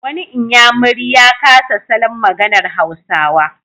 Wani inyamuri ya kasa salon maganar Hausawa.